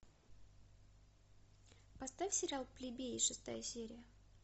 поставь сериал плебеи шестая серия